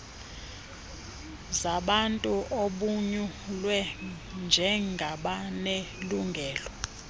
zabantu abonyulwe njengabanelungelo